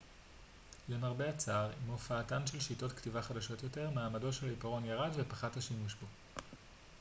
למרבה הצער עם הופעתן של שיטות כתיבה חדשות יותר מעמדו של העיפרון ירד ופחת השימוש בו